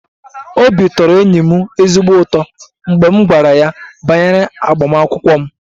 Obi tọrọ enyi m ezigbo ụtọ mgbe m gwara ya banyere agbamakwụkwọ m